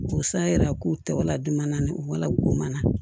K'o san yira k'u tɔgɔ ladon u wala k'u mana